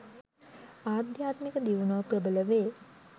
ආධ්‍යාත්මික දියුණුව ප්‍රබල වේ